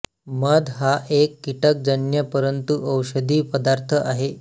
मध हा एक कीटकजन्य परंतु औषधी पदार्थ आहे